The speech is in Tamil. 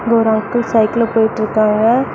இங்க ஒரு அங்கிள் சைக்கிள்ல போயிட்ருக்காங்க.